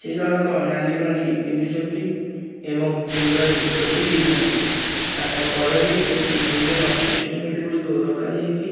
ସେ ଜଣକ ନାଲି ଗଞ୍ଜି ପିନ୍ଧିଛନ୍ତି ଏବଂ ମୁଣ୍ଡରେ ଟୋପି ଦେଇଛନ୍ତି ତାଙ୍କ କରରେ କିଛି ଜିମ୍ ର ଇନଷ୍ଟ୍ରୁମେଣ୍ଟ ଗୁଡ଼ିକ ରଖାଯାଇଚି।